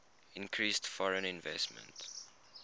increased foreign investment